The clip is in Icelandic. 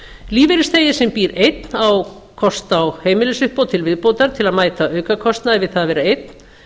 lífeyrisþegi sem býr einn á kost á heimilisuppbót til viðbótar til að mæta aukakostnaði við það að vera einn